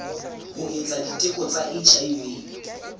ho etsa diteko tsa hiv